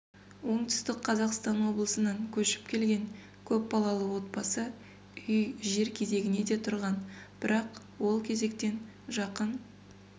оңтүстік қазақстан облысынан көшіп келген көпбалалы отбасы үй жер кезегіне де тұрған бірақ ол кезектен жақын